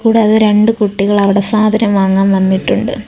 കൂടാതെ രണ്ടു കുട്ടികൾ അവിടെ സാധനം വാങ്ങാൻ വന്നിട്ടുണ്ട്.